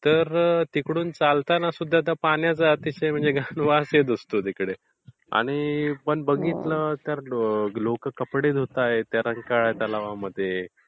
तर तिकडून चालताना सुद्धा पाण्याचा अतिशय घाण वास येत असतो तिकडे आणि पण बघितलं तर लोकं कपडे धूत आहेत त्या रंकाळा तलावामध्ये